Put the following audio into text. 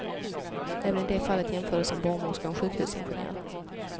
Även i det fallet jämfördes en barnmorska och en sjukhusingenjör.